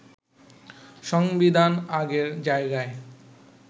সংবিধান আগের জায়গায়